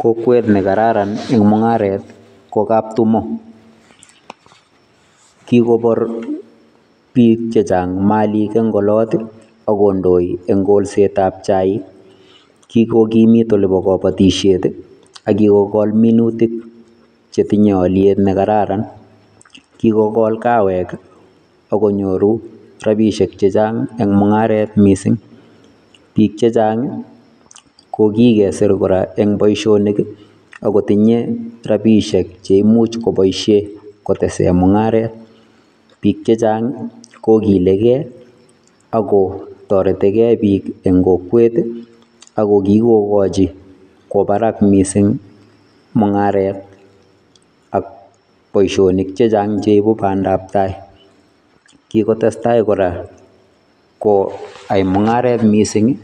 Kokwet nekararan eng mung'aret ko Kaptumo. Kikopor biik chechang malik eng olot, ak kondoi eng kolsetap chaik. Kikokimit olipo kabatishet, ak kikokol minutik chetinye olyet nekararan. Kikokol kawek, ak konyoru rapiishek chechang eng mung'aret mising. Biik chechang, ko kikesir kora eng boishonik, ak kotinye rapiishek che imuch koboishe kotese mung'aret. Biik chechang kokilekei, akotoretikei biik eng kokwet, ako kikokochi kwo barak mising mung'aret ak boishonik chechang cheibu bandaptai. Kikotestai kora koai mung'aret mising